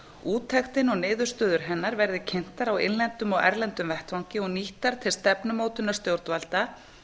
úttektin og niðurstöður hennar verði kynntar á innlendum og erlendum vettvangi og nýttar til stefnumótunar stjórnvalda